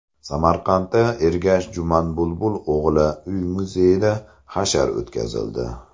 Samarqandda Ergash Jumanbulbul o‘g‘li uy-muzeyida hashar o‘tkazildi.